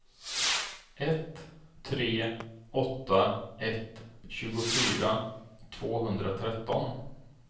ett tre åtta ett tjugofyra tvåhundratretton